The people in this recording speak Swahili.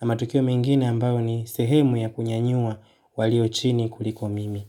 na matukio mengine ambayo ni sehemu ya kunyanyua walio chini kuliko mimi.